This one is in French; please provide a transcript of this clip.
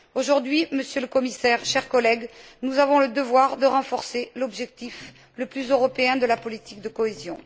Aujourd'hui, Monsieur le Commissaire, chers collègues, nous avons le devoir de renforcer l'objectif le plus européen de la politique de cohésion.